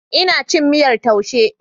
Ina cin miyar taushe.